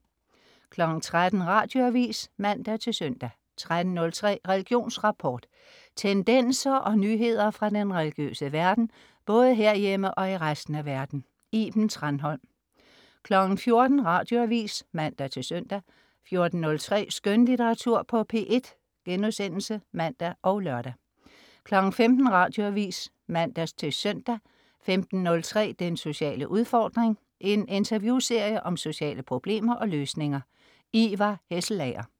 13.00 Radioavis (man-søn) 13.03 Religionsrapport. Tendenser og nyheder fra den religiøse verden, både herhjemme og i resten af verden. Iben Thranholm 14.00 Radioavis (man-søn) 14.03 Skønlitteratur på P1* (man og lør) 15.00 Radioavis (man-søn) 15.03 Den sociale udfordring. En interviewserie om sociale problemer og løsninger. Ivar Hesselager